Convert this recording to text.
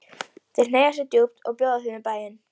Þeir hneigja sig djúpt og bjóða þeim í bæinn.